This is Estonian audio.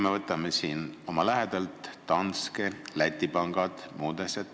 Võtame siit oma lähedalt: Danske, Läti pangad, muud sellised asjad.